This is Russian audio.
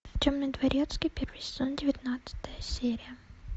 темный дворецкий первый сезон девятнадцатая серия